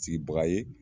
Sigibaga ye